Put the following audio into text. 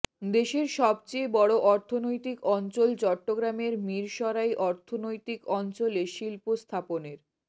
দেশের সবচেয়ে বড় অর্থনৈতিক অঞ্চল চট্টগ্রামের মিরসরাই অর্থনৈতিক অঞ্চলে শিল্প স্থাপনের